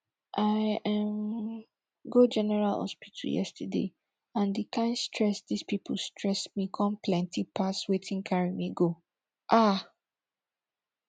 i um go general hospital yesterday and di kain stress dis people stress me come plenty pass wetin carry me go um